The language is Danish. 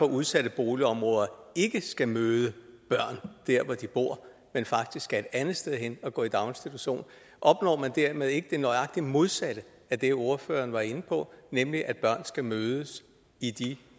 udsatte boligområder ikke skal møde børn der hvor de bor men faktisk skal et andet sted hen og gå i daginstitution opnår man dermed ikke nøjagtig det modsatte af det ordføreren var inde på nemlig at børn skal mødes i de